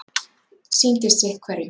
Sýndist sitt hverjum.